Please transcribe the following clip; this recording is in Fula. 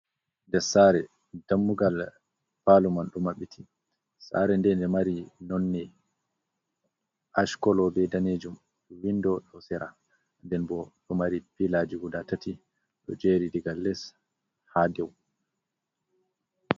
Ndes saare dammugal paalo man ɗo maɓɓiti. Saare nde, nde ɗo mari nonne aac kolo be daneejum, winndo ɗo sera, nden bo ɗo mari pilaaji guda tati ɗo jeeri, diga les haa dow.